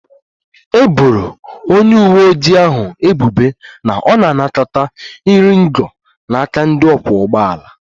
E boro onye uwe ojii ahụ ebubo na ọ na-anakọta iri ngo n'aka ndị ọkwọ ụgbọ ala